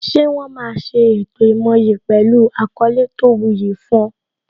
Ṣé wọn máa ṣe ètò ìmoyì pẹlu àkọlé tó wu yi fún ọ